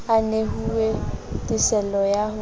a nehuwe tesello ya ho